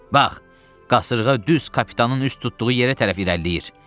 Bax, qasırğaya düz kapitanın üst tutduğu yerə tərəf irəliləyir.